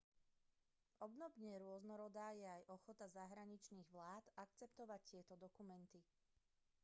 obdobne rôznorodá je aj ochota zahraničných vlád akceptovať tieto dokumenty